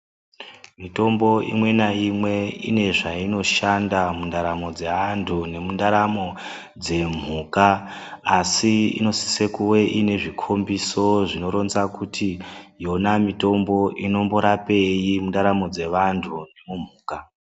Mitombo imwa nayimwe inezvayinoshanda mundaramo dze antu nemundaramo dzemhuka. Asi, inosise kuve inezvikhombiso zvinoronza kuti yona mitombo inomborapeyi mundaramo dzevantu nomumhuka.